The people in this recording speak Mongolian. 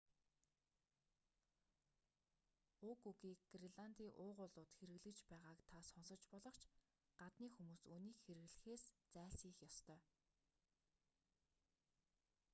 уг үгийг греландын уугуулууд хэрэглэж байгааг та сонсож болох ч гадны хүмүүс үүнийг хэрэглэхээс зайлсхийх ёстой